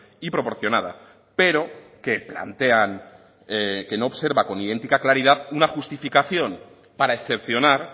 y proporcionada pero que plantean que no observa con idéntica claridad una justificación para excepcionar